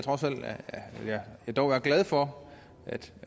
jeg dog er glad for